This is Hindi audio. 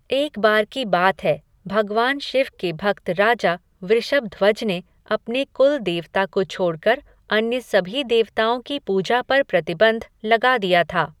एक बार की बात है, भगवान शिव के भक्त राजा वृषभध्वज ने अपने कुल देवता को छोड़कर अन्य सभी देवताओं की पूजा पर प्रतिबंध लगा दिया था।